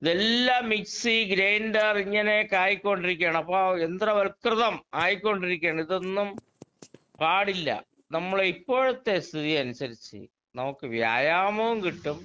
ഇതെല്ലാം mixie grinder ഇങ്ങനെയൊക്കെ ആയിക്കൊണ്ടിരിക്കുകയാണ്. അപ്പോ യന്ത്രവല്‍കൃതം ആയിക്കൊണ്ടിരിക്ക്യാണ്. ഇതൊന്നും പാടില്ല. നമ്മുടെ ഇപ്പോഴത്തെ സ്ഥിതി അനുസരിച്ച് നമുക്ക് വ്യായാമോം കിട്ടും.